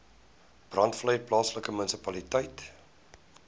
breedevallei plaaslike munisipaliteit